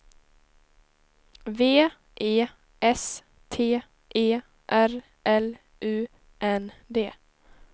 V E S T E R L U N D